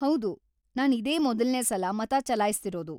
ಹೌದು, ನಾನ್‌ ಇದೇ ಮೊದಲ್ನೇ ಸಲ ಮತ ಚಲಾಯ್ಸ್ತಿರೋದು.